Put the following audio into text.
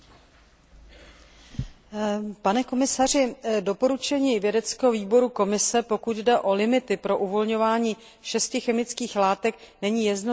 Doporučení vědeckého výboru Komise, pokud jde o limity pro uvolňování šesti chemických látek, není jednoznačné, a to vedlo právě k položení této otázky.